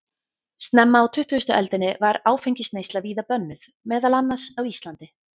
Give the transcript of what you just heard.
Snemma á tuttugustu öldinni var áfengisneysla víða bönnuð, meðal annars á Íslandi.